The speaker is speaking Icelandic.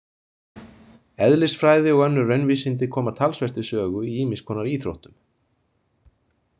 Eðlisfræði og önnur raunvísindi koma talsvert við sögu í ýmiss konar íþróttum.